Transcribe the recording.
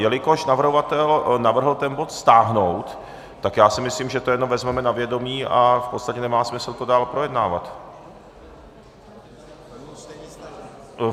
Jelikož navrhovatel navrhl ten bod stáhnout, tak já si myslím, že to jenom vezmeme na vědomí a v podstatě nemá smysl to dál projednávat.